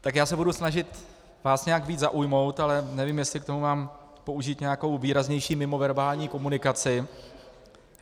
Tak já se budu snažit vás nějak více zaujmout, ale nevím, jestli k tomu mám použít nějakou výraznější mimoverbální komunikaci.